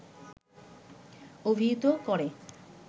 অভিহিত করে